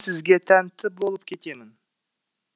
сізге тәнті болып кетемін